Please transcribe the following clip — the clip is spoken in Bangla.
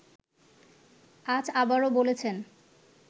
আজ আবারও বলেছেন